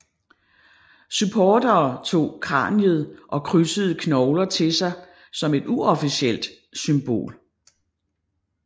Supportere tog kraniet og krydsede knogler til sig som et uofficielt symbol